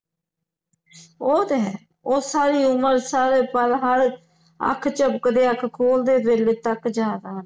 ਉਹ ਤੇ ਹੈ ਉਹ ਸਾਰੀ ਉਮਰ ਸਾਰੇ ਪਲ ਹਰ ਅੱਖ ਝਪਕਦੇ ਅੱਖ ਖੋਲਦੇ ਵੇਲੇ ਤਕ ਯਾਦ ਆਉਣਗੇ